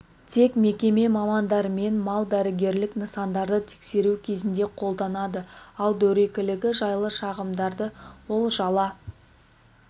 тек мекеме мамандарымен мал дәрігерлік нысандарды тексеру кезінде қолданады ал дөрекілігі жайлы шағымдарды ол жала